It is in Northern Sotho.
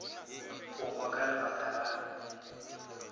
go hwa ka lebaka la